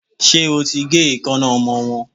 Ṣé o ti gé eekańná ọmọ wọ́n.